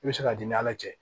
I bɛ se ka d'i ala cɛ